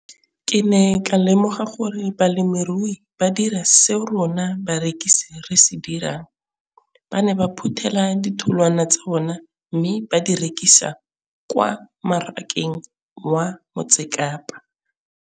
Ke ne ka lemoga gape gore balemirui ba dira seo rona barekisi re se dirang - ba ne ba phuthela ditholwana tsa bona mme ba di rekisa kwa marakeng wa Motsekapa.